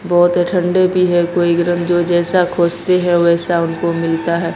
बहुत ठंडे भी है कोई गरम जो जैसा खोजते है वैसा उनको मिलता है।